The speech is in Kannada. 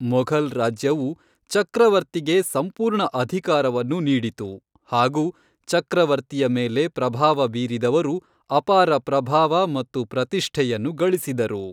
ಮೊಘಲ್ ರಾಜ್ಯವು ಚಕ್ರವರ್ತಿಗೆ ಸಂಪೂರ್ಣ ಅಧಿಕಾರವನ್ನು ನೀಡಿತು ಹಾಗು ಚಕ್ರವರ್ತಿಯ ಮೇಲೆ ಪ್ರಭಾವ ಬೀರಿದವರು ಅಪಾರ ಪ್ರಭಾವ ಮತ್ತು ಪ್ರತಿಷ್ಠೆಯನ್ನು ಗಳಿಸಿದರು.